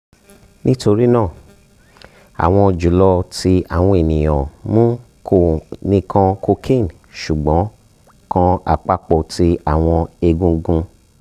nitorina awọn julọ ti awọn eniyan mu ko nikan cocaine sugbon kan apapo ti awọn egungun